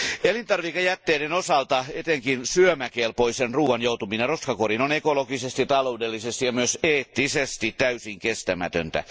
Elintarvikejätteiden osalta etenkin syömäkelpoisen ruoan joutuminen roskakoriin on ekologisesti, taloudellisesti ja myös eettisesti täysin kestämätöntä.